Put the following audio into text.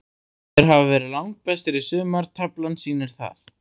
Þeir hafa verið langbestir í sumar, taflan sýnir það.